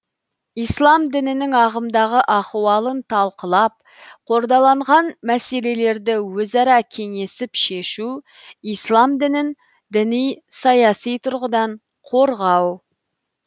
ислам дінінің ағымдағы ахуалын талқылап қордаланған мәселелерді өзара кеңесіл шешу ислам дінін діни саяси тұрғыдан қорғау